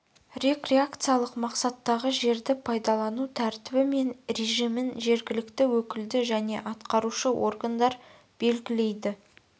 рекреациялық мақсаттағы жерді пайдалану тәртібі мен режимін жергілікті өкілді және атқарушы органдар белгілейді